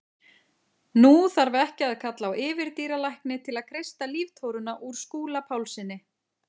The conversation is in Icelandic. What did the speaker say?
Nú þarf ekki að kalla á yfirdýralækni til að kreista líftóruna úr Skúla Pálssyni.